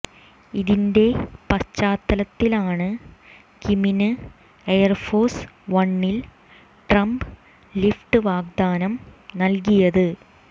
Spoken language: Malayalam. ഇതിന്റെ പശ്ചാത്തലത്തിലാണ് കിമ്മിന് എയർഫോഴ്സ് വണ്ണിൽ ട്രംപ് ലിഫ്റ്റ് വാഗ്ദാനം നൽകിയത്